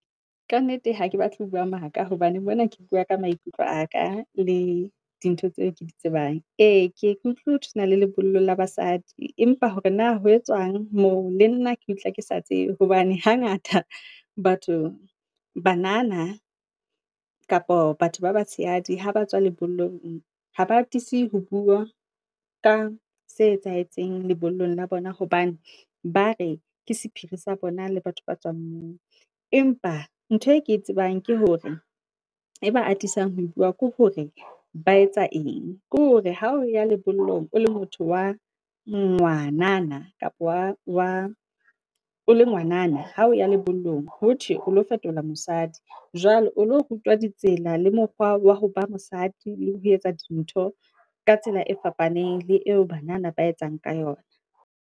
Ka nnete hake batle ho bua maka hobane mona ke bua ka maikutlo aka le dintho tseo ke di tsebang. E, ke ye ke utlwe ho thwe hona le lebollo la basadi empa hore na ho etswang moo le nna ke utlwa kesa tsebe hobane hangata batho, banana kapa batho ba batshehadi ha ba tswa lebollong, ha ba atisi ho bua ka se etsahetseng lebollong la bona hobane ba re ke sephiri sa bona le batho ba tswang moo. Empa ntho e ke tsebang ke hore, e ba atisang ho bua ke hore ba etsa eng. Ke hore ha o ya lebollong, o le motho wa ngwanana kapo wa wa, o le ngwanana hao ya lebollong, ho thwe o lo fetola mosadi. Jwale o lo rutwa ditsela le mokgwa wa ho ba mosadi le ho etsa dintho ka tsela e fapaneng le eo banana ba etsang ka yona.